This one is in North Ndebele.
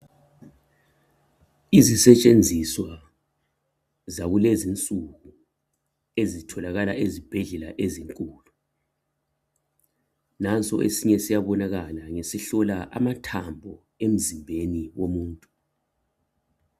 Izisetshenziso zakulezi insuku ezitholakala ezibhedlela ezinkulu naso esinye siyabonakala ngesihlola amathambo emzimbeni womuntu